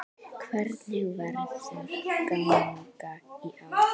Hvernig verður gangan í ár?